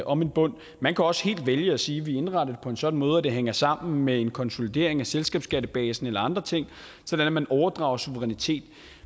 om en bund man kan også helt vælge at sige vi indretter det på en sådan måde at det hænger sammen med en konsolidering af selskabsskattebasen eller andre ting sådan at man overdrager suverænitet